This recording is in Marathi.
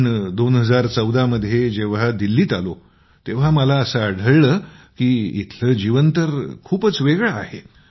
पण २०१४ मध्ये जेव्हा दिल्लीत आलो तेव्हा मला असं आढळलं की येथील जीवन तर खूपच वेगळं आहे